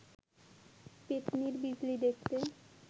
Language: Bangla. পেত্নির বিজলি দেখতে